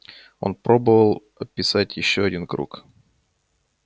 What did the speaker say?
он попробовал описать ещё один круг